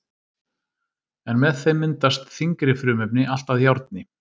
En með þeim myndast þyngri frumefni, allt að járni.